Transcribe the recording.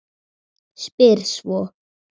Spyr svo